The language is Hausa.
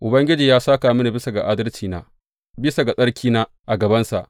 Ubangiji ya sāka mini bisa ga adalcina bisa ga tsarkina a gabansa.